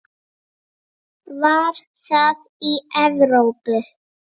Var það í Evrópu?